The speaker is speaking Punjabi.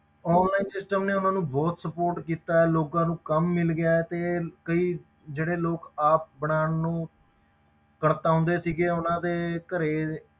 Online system ਨੇ ਉਹਨਾਂ ਨੂੰ ਬਹੁਤ support ਕੀਤਾ ਹੈ ਲੋਕਾਂ ਨੂੰ ਕੰਮ ਮਿਲ ਗਿਆ ਹੈ ਤੇ ਕਈ ਜਿਹੜੇ ਲੋਕ ਆਪ ਬਣਾਉਣ ਨੂੰ, ਕੜਤਾਉਂਦੇ ਸੀਗੇ ਉਹਨਾਂ ਦੇ ਘਰੇ,